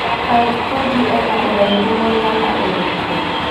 Raphael tuju ena ũraihu mũigana ũrikũ